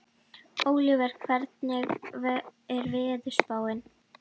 Ólíver, hvernig er veðurspáin?